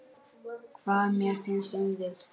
Hvað mér finnst um þig?